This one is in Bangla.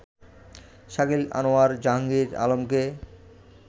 শাকিল আনোয়ার জাহাঙ্গীর আলমকে